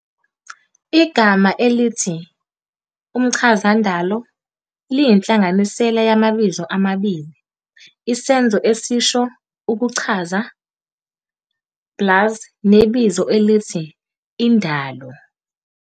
Igama elithi "umchazandalo" liyinhlanganisela yamabizo amabili, isenzo esisho 'ukuchaza' plus nebizo elithi 'indalo'.